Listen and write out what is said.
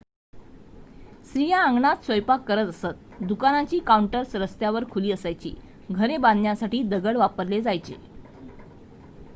स्त्रिया अंगणात स्वयंपाक करत असतं दुकानांची काउंटर्स रस्त्यावर खुली असायची घरे बांधण्यासाठी दगड वापरले जायचे